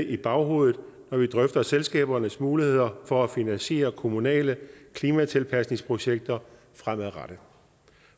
i baghovedet når vi drøfter selskabernes muligheder for at finansiere kommunale klimatilpasningsprojekter fremadrettet